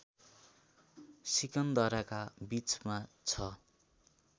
सिकन्दराका बीचमा छ